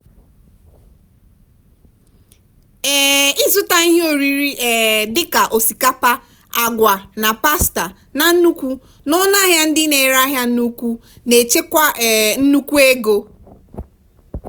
um ịzụta ihe oriri um dị ka osikapa agwa na pasta na nnukwu n'ọnụ ahịa ndị na-ere ahịa n'ukwu na-echekwa um nnukwu ego.